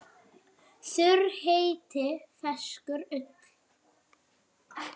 Þurr hiti feyskir ull.